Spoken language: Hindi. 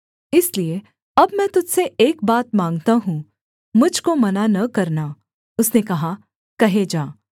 इसलिए अब मैं तुझ से एक बात माँगता हूँ मुझ को मना न करना उसने कहा कहे जा